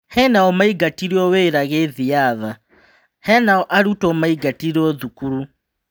Henao maingatirwo wĩra gĩthiatha, henao arutwo maingatirwo thukuru.